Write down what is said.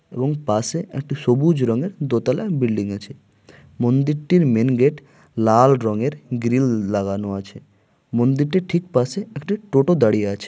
এবং পাশে একটা সবুজ রঙের দোতলা বিল্ডিং আছে মন্দিরটির মেন গেট লাল রঙের গ্রিল লাগানো আছে মন্দিরটার ঠিক পাশে একটা টোটো দাঁড়িয়ে আছে।